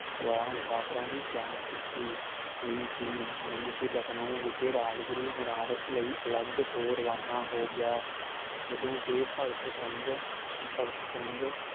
ਸਵਾਰ ਮੁਸਾਫ਼ਰਾਂ ਦੀ ਜਾਂਚ ਕੀਤੀ ਇਹੀ ਸੀ ਨੰਦਸ਼੍ਰੀ ਲਖਨਊ ਵਿਖੇ ਰਾਜਗੁਰੂ ਬਨਾਰਸ ਲਈ ਅਲਗ ਤੋਂ ਰਵਾਨਾ ਹੋ ਗਿਆ ਜਦੋ ਕੇ ਭਗਤ ਸਿੰਘ ਭਗਤ ਸਿੰਘ